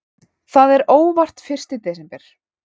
Það er óvart fyrsti desember.